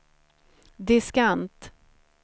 diskant